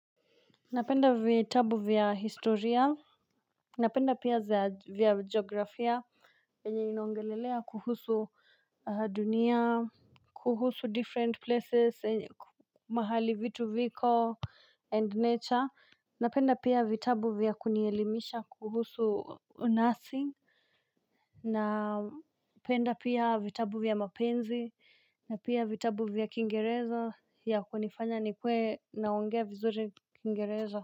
Napenda vitabu vya historia. Napenda pia za vya geografia. Enye ino ongelelea kuhusu dunia. Kuhusu different places mahali vitu viko and nature. Napenda pia vitabu vya kunielimisha kuhusu unasi. Napenda pia vitabu vya mapenzi. Napenda pia vitabu vya kingereza. Ya kunifanya ni kuwe naongea vizuri kingereza.